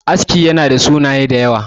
aski yana da sunaye da yawa